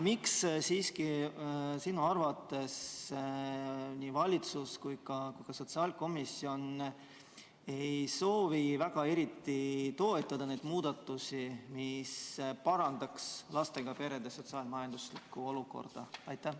Miks sinu arvates ei valitsus ega ka sotsiaalkomisjon ei soovi eriti toetada neid muudatusi, mis parandaks lastega perede sotsiaal-majanduslikku olukorda?